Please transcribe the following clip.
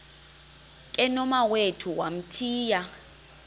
ke nomawethu wamthiya